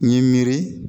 N ye miiri